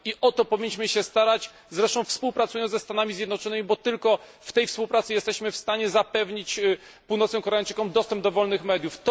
I o to powinniśmy się starać, zresztą współpracując ze Stanami Zjednoczonymi, bo tylko w tej współpracy jesteśmy w stanie zapewnić północnym Koreańczykom dostęp do wolnych mediów.